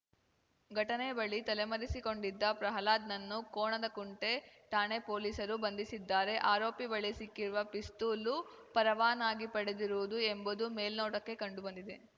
ಘಟನೆ ಬಳಿ ತಲೆಮರೆಸಿಕೊಂಡಿದ್ದ ಪ್ರಹ್ಲಾದ್‌ನನ್ನು ಕೋಣನಕುಂಟೆ ಠಾಣೆ ಪೊಲೀಸರು ಬಂಧಿಸಿದ್ದಾರೆ ಆರೋಪಿ ಬಳಿ ಸಿಕ್ಕಿರುವ ಪಿಸ್ತೂಲು ಪರವಾನಾಗಿ ಪಡೆದಿರುವುದು ಎಂಬುದು ಮೇಲ್ನೋಟಕ್ಕೆ ಕಂಡು ಬಂದಿದೆ